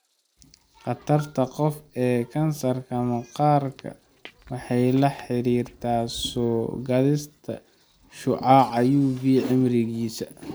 Khatarta qofka ee kansarka maqaarka waxay la xiriirtaa soo-gaadhista shucaaca UV ee cimrigiisa.